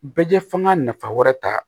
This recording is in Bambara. Bɛɛ f'anga nafa wɛrɛ ta